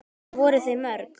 Voru þau mörg?